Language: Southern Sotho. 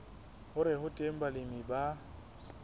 hore ho teng balemi ba